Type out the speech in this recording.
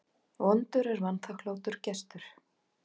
Vondur er vanþakklátur gestur.